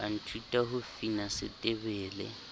a nthuta ho fina setebele